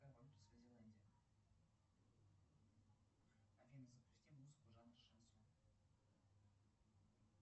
афина запусти музыку жанра шансон